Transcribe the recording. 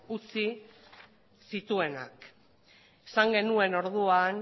utzi zituenak esan genuen orduan